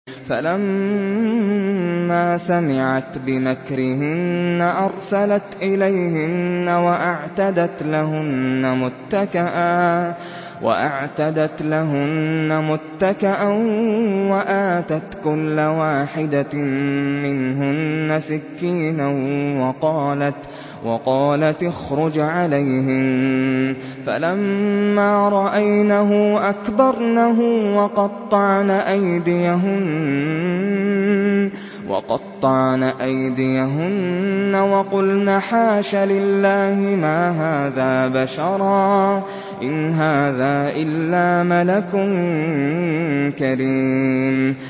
فَلَمَّا سَمِعَتْ بِمَكْرِهِنَّ أَرْسَلَتْ إِلَيْهِنَّ وَأَعْتَدَتْ لَهُنَّ مُتَّكَأً وَآتَتْ كُلَّ وَاحِدَةٍ مِّنْهُنَّ سِكِّينًا وَقَالَتِ اخْرُجْ عَلَيْهِنَّ ۖ فَلَمَّا رَأَيْنَهُ أَكْبَرْنَهُ وَقَطَّعْنَ أَيْدِيَهُنَّ وَقُلْنَ حَاشَ لِلَّهِ مَا هَٰذَا بَشَرًا إِنْ هَٰذَا إِلَّا مَلَكٌ كَرِيمٌ